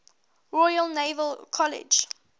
royal naval college